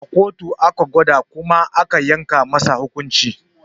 A kotu aka gwada kuma aka yanke masa hukunci